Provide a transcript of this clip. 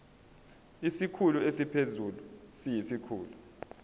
isikhulu esiphezulu siyisikhulu